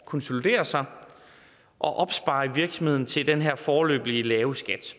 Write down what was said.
konsolidere sig og opspare i virksomheden til den her foreløbige lave skat